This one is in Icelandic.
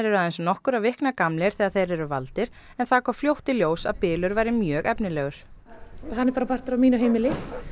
aðeins nokkurra vikna gamlir þegar þeir eru valdir en það kom fljótt í ljós að bylur væri mjög efnilegur hann er bara partur af mínu heimili